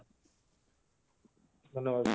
ଧନ୍ୟବାଦ